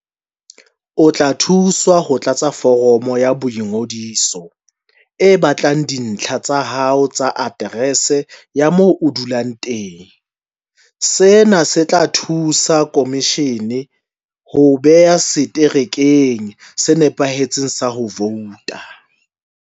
O tla thuswa ho tlatsa foromo ya boingodiso e batlang dintlha tsa hao tsa aterese ya moo o dulang teng. Sena se tla thusa khomishene ho o beha seterekeng se nepahetseng sa ho vouta.